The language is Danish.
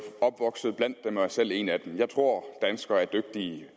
opvokset blandt dem og er selv en af dem jeg tror danskerne er dygtige